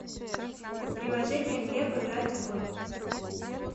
приложение глеб играть в